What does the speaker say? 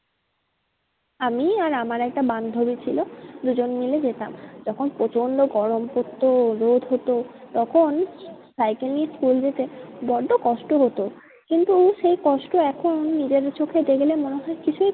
আমি আর আমার একটা বান্ধবী ছিল দুজন মিলে যেতাম। যখন প্রচন্ড গরম পড়তো রোদ হতো তখন সাইকেল নিয়ে school যেতে বড্ডো কষ্ট হতো। কিন্তু সেই কষ্ট এখন নিজের চোখে দেখলে মনে হয় কিছুই